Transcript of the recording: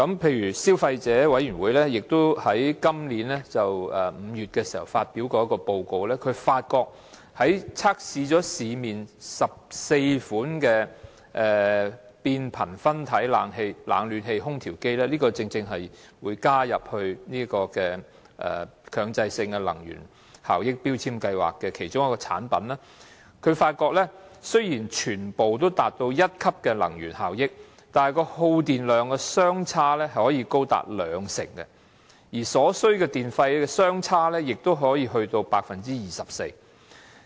例如消費者委員會在今年5月發表了一份報告，測試市面14款變頻分體冷暖氣空調機——正正是今次將會加入強制性標籤計劃的其中一項產品——發現雖然全部達到同一級能源效益，但耗電量可以相差高達兩成，而所需電費也可以相差達到 24%。